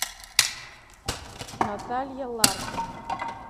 наталья ларкина